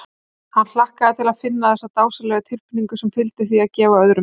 Hann hlakkaði til að finna þessa dásamlegu tilfinnigu sem fylgir því að gefa öðrum.